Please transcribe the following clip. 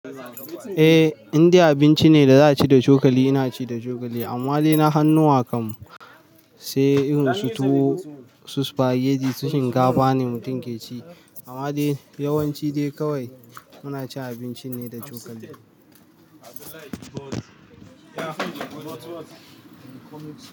Eh Indai abinci ne da za a ci da cokali. Ina ci da cokali amma dai na hanuwa kam sai irin su su-supageti su shinkafa ne mutum ke ci amma dai yawanci dai kawai muna cin abinci ne da cokali.